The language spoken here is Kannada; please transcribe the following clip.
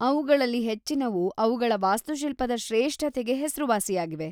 ಅವ್ಗಳಲ್ಲಿ ಹೆಚ್ಚಿನವು ಅವ್ಗಳ ವಾಸ್ತುಶಿಲ್ಪದ ಶ್ರೇಷ್ಠತೆಗೆ ಹೆಸ್ರುವಾಸಿಯಾಗಿವೆ.